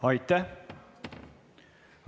Aitäh!